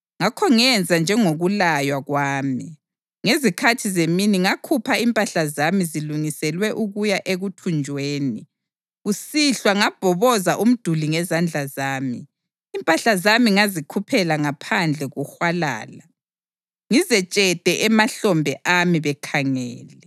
Ngakho ngenza njengokulaywa kwami. Ngezikhathi zemini ngakhupha impahla zami zilungiselwe ukuya ekuthunjweni. Kusihlwa ngabhoboza umduli ngezandla zami. Impahla zami ngazikhuphela ngaphandle kuhwalala, ngizetshethe emahlombe ami bekhangele.